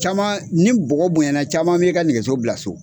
Caman ni bɔgɔ bonɲana caman bi ka nɛgɛso bila so.